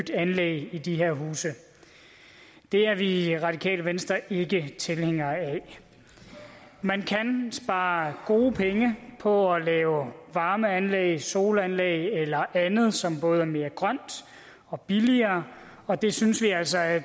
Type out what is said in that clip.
anlæg i de her huse det er vi i radikale venstre ikke tilhængere af man kan spare gode penge på at lave varmeanlæg solanlæg eller andet som både er mere grønt og billigere og det synes vi altså at